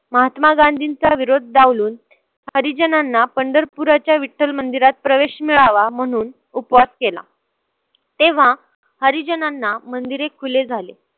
महात्मा गांधींचा विरोध डावलून हरीजणांना पंढरपूराच्या विठ्ठल मंदिरात प्रवेश मिळावा म्हणून उपवास केला. तेव्हा हरीजणांना मंदिरे खुले झाले.